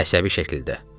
Əsəbi şəkildə.